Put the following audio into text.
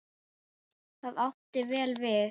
Það átti vel við.